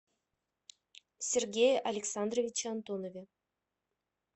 сергее александровиче антонове